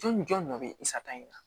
Jɔn jɔn dɔ bɛ i sata in na